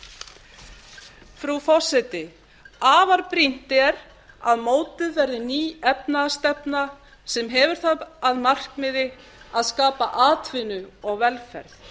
frú forseti afar brýnt er að mótuð verði ný efnahagsstefna sem hefur það að markmiði að skapa atvinnu og velferð